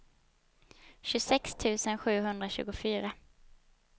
tjugosex tusen sjuhundratjugofyra